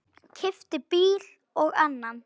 Keypti bíl og annan.